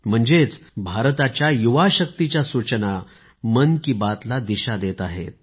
म्हणजेच भारताच्या युवा शक्तिच्या सूचना मन की बात ला दिशा देत आहेत